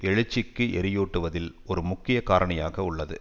எழுச்சிக்கு எரியூட்டுவதில் ஒரு முக்கிய காரணியாக உள்ளது